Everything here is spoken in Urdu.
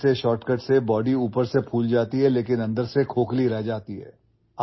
یار ایسے شارٹ کٹس سے جسم باہر سے پھول جاتا ہے، لیکن اندر سے کھوکھلا رہتا ہے